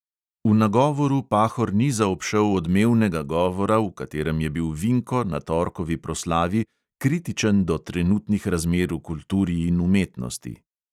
V nagovoru pahor ni zaobšel odmevnega govora, v katerem je bil vinko na torkovi proslavi kritičen do trenutnih razmer v kulturi in umetnosti.